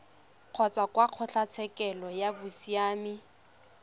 kgotsa kwa kgotlatshekelo ya bosiamisi